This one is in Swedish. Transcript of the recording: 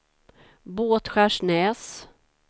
Båtskärsnäs